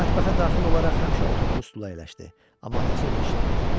O mətbəxə daxil olaraq həmişə oturduğu stula əyləşdi, amma atası onu eşitmədi.